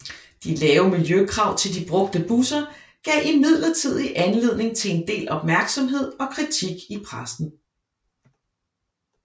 De lave miljøkrav til de brugte busser gav imidlertid anledning til en del opmærksomhed og kritik i pressen